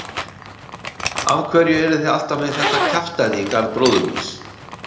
Af hverju eruð þið alltaf með þetta kjaftæði í garð bróður míns?